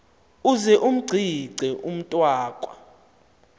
uze umgcine umntwaka